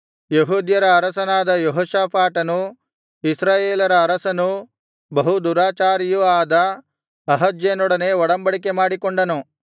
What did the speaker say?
ಯೆಹೂದ್ಯರ ಅರಸನಾದ ಯೆಹೋಷಾಫಾಟನು ಇಸ್ರಾಯೇಲರ ಅರಸನೂ ಬಹು ದುರಾಚಾರಿಯೂ ಆದ ಅಹಜ್ಯನೊಡನೆ ಒಡಬಂಡಿಕೆ ಮಾಡಿಕೊಂಡನು